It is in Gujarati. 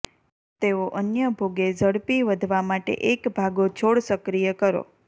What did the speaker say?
તેઓ અન્ય ભોગે ઝડપી વધવા માટે એક ભાગો છોડ સક્રિય કરો